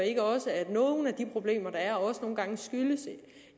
ikke også at nogle af de problemer der er nogle gange skyldes